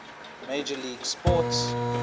major league sports